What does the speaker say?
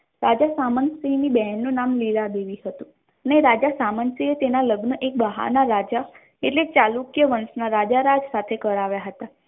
રાજા સામતસિંહ ની બેન નું નામ નિરાદેવી હતું ને રાજા સામંતે તેના લગ્ન એક બહારના રાજા એટલે ચાલુ કે વંશના રાજા રાજ સાથે કરાવ્યા હતા.